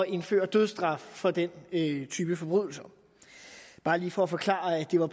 indføre dødsstraf for den type forbrydelser bare lige for at forklare at det var